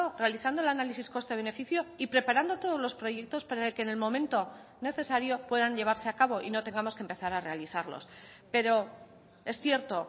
realizando el análisis coste beneficio y preparando todos los proyectos para que en el momento necesario puedan llevarse a cabo y no tengamos que empezar a realizarlos pero es cierto